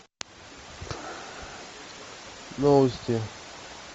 новости